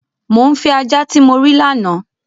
Mọ̀ ń fẹ̀ ajá tí mó rí lána!